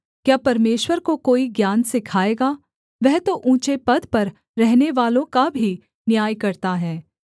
क्या परमेश्वर को कोई ज्ञान सिखाएगा वह तो ऊँचे पद पर रहनेवालों का भी न्याय करता है